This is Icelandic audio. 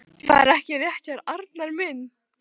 Það er ekki rétt hjá þér, Arnar minn.